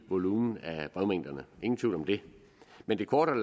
brevmængderne ingen tvivl om det men det korte af